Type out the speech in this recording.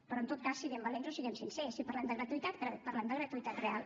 però en tot cas siguem valents o siguem sincers si parlem de gratuïtat parlem de gratuïtat real